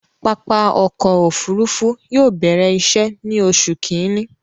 Pápá ọkọ̀ òfurufú yóò bẹ̀rẹ̀ iṣẹ̀ ni Oṣu Kínní